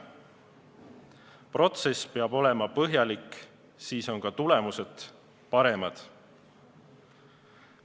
Protsess peab olema põhjalik, siis on ka tulemused paremad.